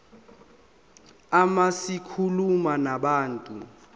uma zikhuluma nabantu